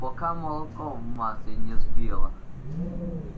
пока молоко в масле не сбила